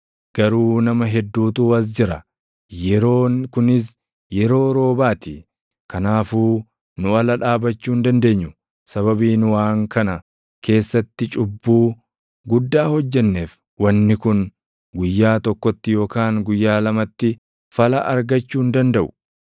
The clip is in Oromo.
Garuu nama hedduutu as jira; yeroon kunis yeroo roobaa ti; kanaafuu nu ala dhaabachuu hin dandeenyu. Sababii nu waan kana keessatti cubbuu guddaa hojjenneef wanni kun guyyaa tokkotti yookaan guyyaa lamatti fala argachuu hin dandaʼu.